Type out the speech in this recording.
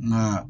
Nka